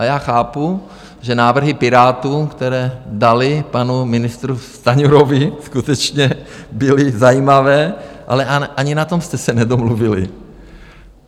A já chápu, že návrhy Pirátů, které dali panu ministru Stanjurovi, skutečně byly zajímavé, ale ani na tom jste se nedomluvili.